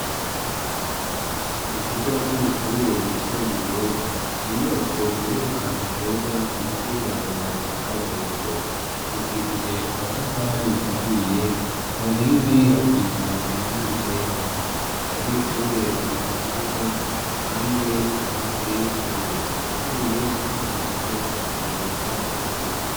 Mu kigo c'amashuri yisumbuye ni inyubako ziri hantu heza munsi y'ibarabara rya ka burimbo. hubakishije amatafari ahiye ku nkingi hasize iranga ryera abanyeshuri bari mu kibuga handi hasi hari aho aharuye ahandi naho hari utwatsi twiza.